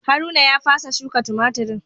Haruna ya fasa shuka tumatirin.